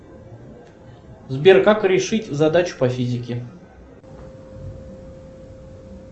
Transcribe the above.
сбер как решить задачу по физике